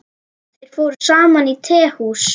Þeir fóru saman á tehús.